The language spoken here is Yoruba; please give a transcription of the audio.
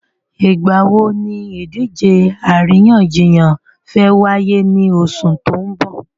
Ìgbà wo ni ìdíje àríyànjiyàn fẹ́ wáyé ní oṣù tó n bò?